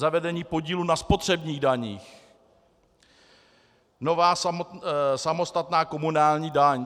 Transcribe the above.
Zavedení podílu na spotřebních daních, nová samostatná komunální daň.